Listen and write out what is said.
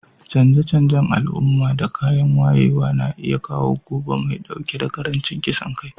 Canje-canjen al'umma da kayan wayewa na iya kawo gobe mai dauke da karancin kisan kai.